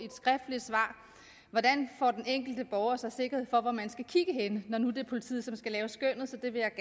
hvordan får den enkelte borger så sikkerhed for hvor man skal kigge henne når nu det er politiet som skal lave skønnet